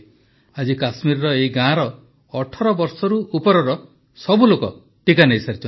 ଆଜି କାଶ୍ମୀରର ଏହି ଗାଁର ୧୮ ବର୍ଷରୁ ଉପରର ସବୁ ଲୋକ ଟିକା ନେଇସାରିଛନ୍ତି